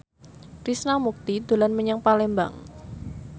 Krishna Mukti dolan menyang Palembang